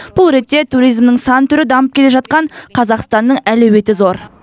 бұл ретте туризмнің сан түрі дамып келе жатқан қазақстанның әлеуеті зор